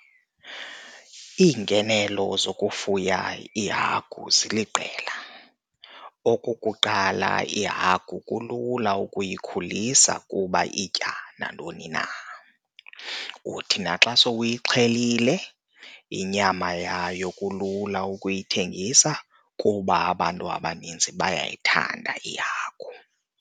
Iingenelo zokufuya iihagu ziliqela, okukuqala iihagu kulula ukuyikhulisa kuba itya nantoni na. Uthi naxa sewuyixhelile inyama yayo, kulula ukuyithengisa kuba abantu abaninzi bayayithanda ihagu.